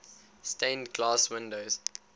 stained glass windows